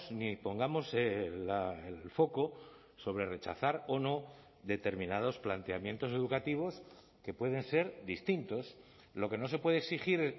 ni pongamos el foco sobre rechazar o no determinados planteamientos educativos que pueden ser distintos lo que no se puede exigir